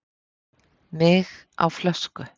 Mig á flösku